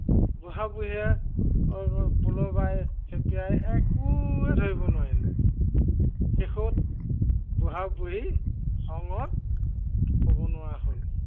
বুঢ়া-বঢ়ীয়ে, এৰ পল' বাই খেপিয়াই একোৱেই ধৰিব নোৱাৰিলে। শেষত, বুঢ়া-বুঢ়ী খঙত ক'ব নোৱাৰা হ'ল।